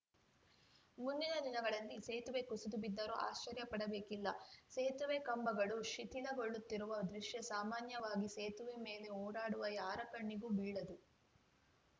ಮುಂದಿನ ದಿನಗಳಲ್ಲಿ ಸೇತುವೆ ಕುಸಿದು ಬಿದ್ದರೂ ಆಶ್ಚರ್ಯಪಡಬೇಕಿಲ್ಲ ಸೇತುವೆ ಕಂಬಗಳು ಶಿಥಿಲಗೊಳ್ಳುತ್ತಿರುವ ದೃಶ್ಯ ಸಾಮಾನ್ಯವಾಗಿ ಸೇತುವೆ ಮೇಲೆ ಓಡಾಡುವ ಯಾರ ಕಣ್ಣಿಗೂ ಬೀಳದು